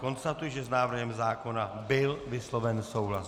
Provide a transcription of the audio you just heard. Konstatuji, že s návrhem zákona byl vysloven souhlas.